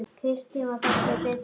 Kristín var kölluð Didda.